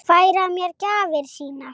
Færa mér gjafir sínar.